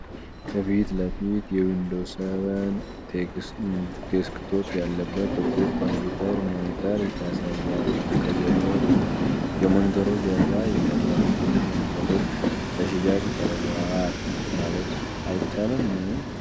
ከፊት ለፊት የዊንዶውስ 7 ዴስክቶፕ ያለበትን ጥቁር ኮምፒዩተር ሞኒተር ያሳያል። ከጀርባው ደግሞ የሞኒተሩ ጀርባ ይታያል፤ ይህም ሞኒተሮቹ ለሽያጭ ቀርበዋል ማለት አይቻልም?